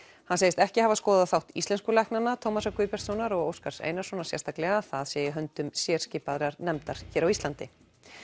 hann segist ekki hafa skoðað þátt íslensku læknanna Tómasar Guðbjartssonar og Óskars Einarssonar sérstaklega það sé í höndum nefndar á Íslandi